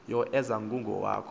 yo eza kughawuka